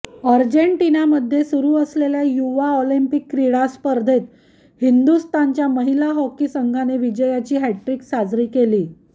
अर्जेंटिनामध्ये सुरू असलेल्या युवा ऑलिम्पिक क्रीडा स्पर्धेत हिंदुस्थानच्या महिला हॉकी संघाने विजयाची हॅटट्रिक साजरी केली